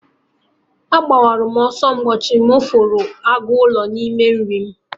Agbara m ọsọ ụbọchị m hụrụ agụ ụlọ n'ime nri m